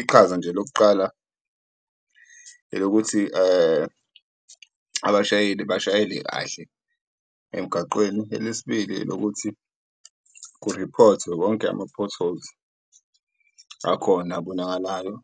Iqhaza nje lokuqala elokuthi abashayeli bashayele kahle emgaqweni, elesibili elokuthi kuriphothwe wonke ama-potholes akhona ebonakalayo